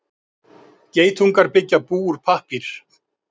Geitungar byggja bú úr pappír.